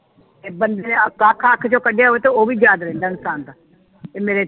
ਤੇ ਬੰਦੇ ਆਖਾ ਅੱਖ ਵਿਚ ਕੱਢਿਆ ਹੋਵੇ ਤੇ ਉਹ ਵੀ ਯਾਦ ਰਹਿੰਦਾ ਉਹਨੂੰ ਤੰਦ ਤੇ ਮੇਰੇ